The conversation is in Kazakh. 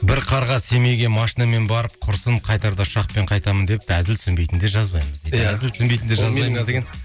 бір қарға семейге машинамен барып құрысын қайтарда ұшақпен қайтамын депті әзіл түсінбейтіндер жазбаймыз дейді